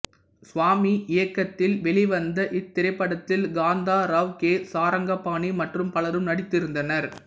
சுவாமி இயக்கத்தில் வெளிவந்த இத்திரைப்படத்தில் காந்தா ராவ் கே சாரங்கபாணி மற்றும் பலரும் நடித்திருந்தனர்